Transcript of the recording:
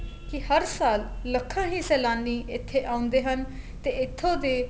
ਕੀ ਹਰ ਸਾਲ ਲੱਖਾ ਹੀ ਸੇਲਾਨੀ ਇੱਥੇ ਆਉਂਦੇ ਹਨ ਤੇ ਇੱਥੋ ਦੇ